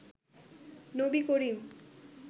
Nabi Karim